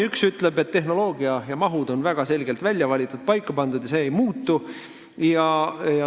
Esiteks öeldakse, et tehnoloogia ja mahud on väga selgelt välja valitud ja paika pandud ning need ei muutu.